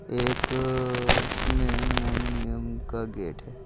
एक इसमें एल्यूमिनियम का गेट है।